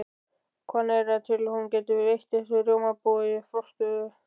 Hvanneyri til að hún gæti veitt þessu rjómabúi forstöðu.